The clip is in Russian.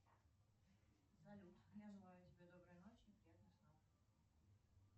салют я желаю тебе доброй ночи и приятных снов